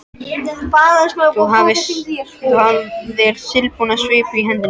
Þú hafðir silfurbúna svipu í hendinni.